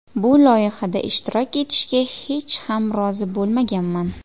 Bu loyihada ishtirok etishga hech ham rozi bo‘lmaganman.